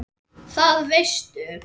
Það veistu